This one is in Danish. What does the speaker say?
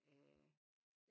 Øh